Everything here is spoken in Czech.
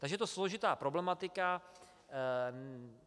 Takže je to složitá problematika.